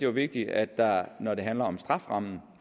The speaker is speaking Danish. vigtigt at der når det handler om strafferammen